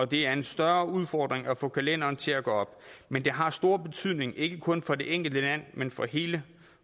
det er en større udfordring at få kalenderen til at gå op men det har stor betydning ikke kun for det enkelte land men for hele